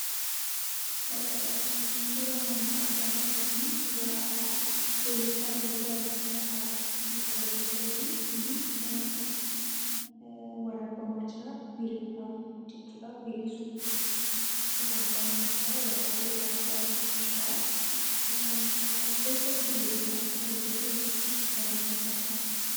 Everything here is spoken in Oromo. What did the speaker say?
Eee suuraan ani argaa jiru kunii suuraa weellisaa yookaan artistii tokkooti. innis waraabbamaa jiraa. Weelluudhaaf jechuudhaa weellisuudha waraabbamaa jiraa waraabbiirra jiraa, Eessatti weellisaa jira yookiin waraabbiinsaa kun?